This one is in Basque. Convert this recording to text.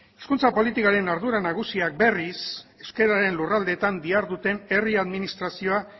hizkuntza politikaren ardura nagusiak berriz euskararen lurraldeetan diharduten herri administrazioa